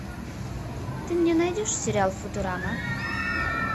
ты мне найдешь сериал футурама